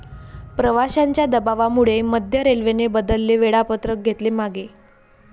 प्रवाशांच्या दबावामुळे मध्य रेल्वेने बदलेले वेळापत्रक घेतले मागे